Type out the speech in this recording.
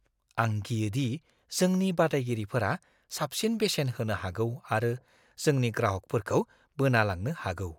आं गियोदि जोंनि बादायगिरिफोरा साबसिन बेसेन होनो हागौ आरो जोंनि ग्राहकफोरखौ बोना लांनो हागौ।